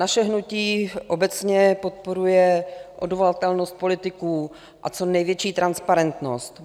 Naše hnutí obecně podporuje odvolatelnost politiků a co největší transparentnost.